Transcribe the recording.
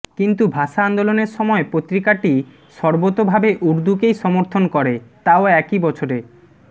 কিন্তু ভাষা আন্দোলনের সময় পত্রিকাটি সর্বতোভাবে উর্দুকেই সমর্থন করে তাও একই বছরে